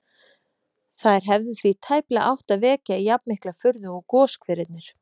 Þær hefðu því tæplega átt að vekja jafnmikla furðu og goshverirnir.